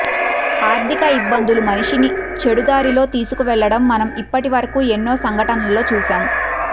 ఆర్థిక ఇబ్బందులు మనిషిని చెడు దారిలో తీసుకు వెళ్లడం మనం ఇప్పటి వరకు ఎన్నో సంఘటనల్లో చూశాం